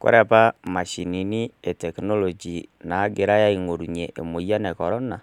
Kore apa imashhini e teknoloji naagirai aing'orunye emoyian e korona,